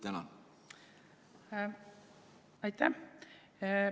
Aitäh!